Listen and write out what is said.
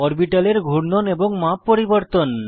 অরবিটালের ঘূর্ণন এবং মাপ পরিবর্তন